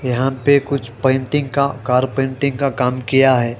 यहां पे कुछ पेंटिंग का कार पेंटिंग का काम किया है।